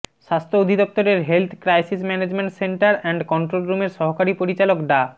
স্বাস্থ্য অধিদফতরের health crisis management centre and control রুমের সহকারী পরিচালক ডা